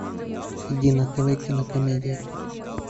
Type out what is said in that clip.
найди на тв кинокомедия